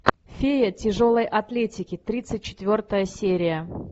фея тяжелой атлетики тридцать четвертая серия